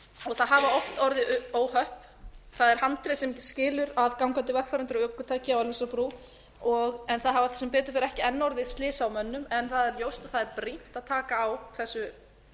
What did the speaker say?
það hafa oft orðið óhöpp það er handrið sem skilur að gangandi vegfarendur og ökutæki á ölfusárbrú en það hafa sem betur fer enn ekki orðið slys á mönnum en það er ljóst að það er brýnt að taka á þessu